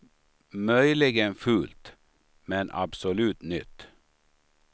Möjligen fult, men absolut nytt.